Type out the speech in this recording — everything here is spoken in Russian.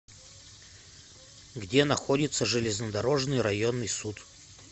где находится железнодорожный районный суд